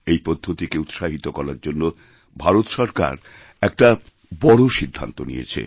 এইপদ্ধতিকে উৎসাহিত করার জন্য ভারত সরকার একটা বড় সিদ্ধান্ত নিয়েছে